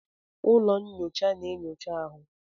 Ụlọ nnyocha na-enyocha ahụ.